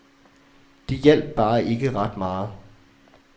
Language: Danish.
Det hjalp bare ikke ret meget.